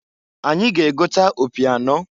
Anyị ga-egota opi anọọ.